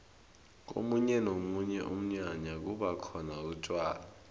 komunye nomunye umnyanya kubakhona utjwala